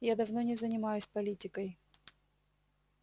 я давно не занимаюсь политикой